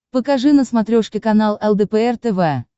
покажи на смотрешке канал лдпр тв